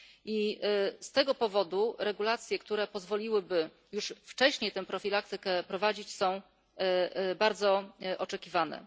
I z tego powodu regulacje, które pozwoliłyby już wcześniej tę profilaktykę prowadzić, są bardzo oczekiwane.